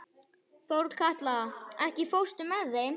Þorkatla, ekki fórstu með þeim?